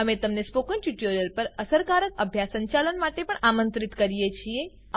અમે તમને સ્પોકન ટ્યુટોરીયલો પર અસરકારક અભ્યાસ સંચાલન માટે પણ આમંત્રિત કરીએ છીએ